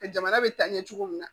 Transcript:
Jamana bɛ taa ɲɛ cogo min na